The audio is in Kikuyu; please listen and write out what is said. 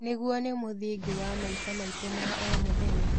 Nĩguo nĩ mũthingi wa maica maitũ ma o mũthenya.